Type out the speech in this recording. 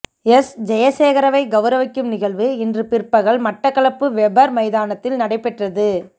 S Jayasekara வை கௌரவிக்கும் நிகழ்வு இன்று பிற்பகல் மட்டக்களப்பு வெபர் மைதானத்தில் நடைபெற்றது